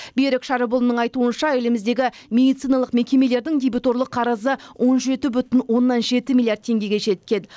берік шәріпұлының айтуынша еліміздегі медициналық мекемелердің дебиторлық қарызы он жеті бүтін оннан жеті миллиард теңгеге жеткен